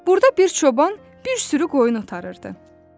Burda bir çoban bir sürü qoyun otarırdı.